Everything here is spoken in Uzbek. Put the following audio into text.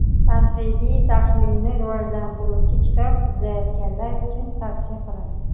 tanqidiy-tahlilni rivojlantiruvchi kitob izlayotganlar uchun tavsiya qilaman.